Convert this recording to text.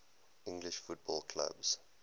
english football clubs